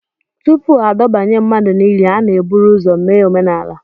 Tupu adọbanye mmadụ n'ili, a na-eburu ụzọ mee omenala